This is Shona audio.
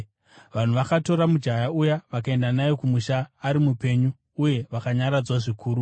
Vanhu vakatora mujaya uya vakaenda naye kumusha ari mupenyu uye vakanyaradzwa zvikuru.